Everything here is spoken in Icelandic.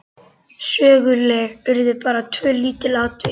Söguleg urðu bara tvö lítil atvik.